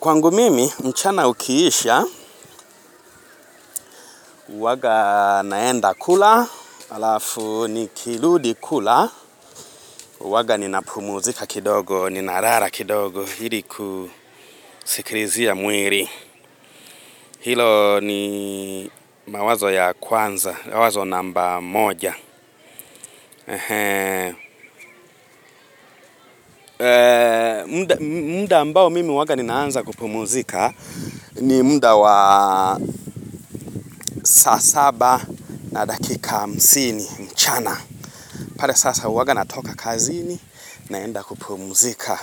Kwangu mimi, mchana ukiisha, huwaga naenda kula, halafu nikiludi kula, huwaga ninapumuzika kidogo, ninarara kidogo, ili kusikilizia mwili. Hilo ni mawazo ya kwanza, mawazo namba moja mda ambao mimi huwaga ninaanza kupumuzika ni mda wa saa saba na dakika hamsini, mchana pale sasa huwaga natoka kazini naenda kupumzika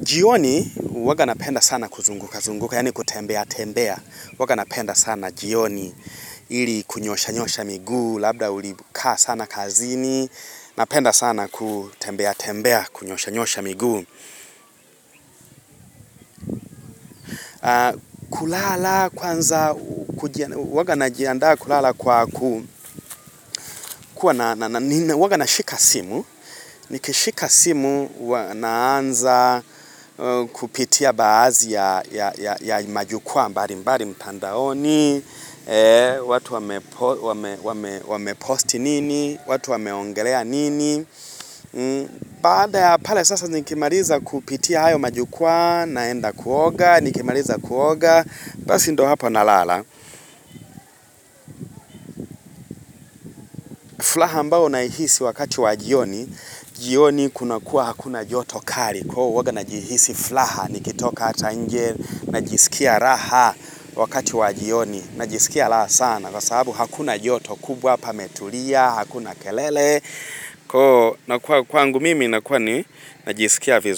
jioni huwaga napenda sana kuzunguka, zunguka, yaani kutembea, tembea huwaga napenda sana jioni ili kunyosha nyosha miguu labda ulikaa sana kazini napenda sana kutembea tembea kunyosha nyosha miguu kulala kwanza huwaga najiandaa kulala kwa ku huwaga nashika simu nikishika simu huwa naanza kupitia baadhi ya majukwaa mbali mbali mtandaoni watu wamepost nini watu wameongelea nini. Baada ya pale sasa nikimaliza kupitia hayo majukwaa naenda kuoga nikimaliza kuoga Basi ndo hapa na lala furaha ambao naihisi wakati wa jioni jioni kuna kuwa hakuna joto kali Kwa uoga najihisi furaha Nikitoka hata nje Najisikia raha wakati wa jioni Najisikia raha sana Kwa sababu hakuna joto kubwa pametulia Hakuna kelele Kwa nakuwa kwangu mimi nakuwa ni Najisikia vizu.